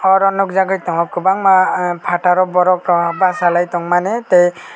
oro nug jagoi tongo kwbangma ahh fataro borok rok basalai tongmani tei.